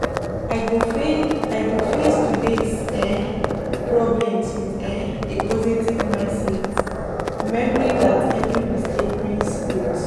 I go face today’s um problems with um a positive mindset, remembering that every mistake brings growth.